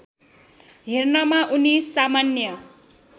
हेर्नमा उनी सामान्य